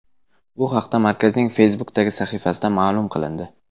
Bu haqda markazning Facebook’dagi sahifasida ma’lum qilindi .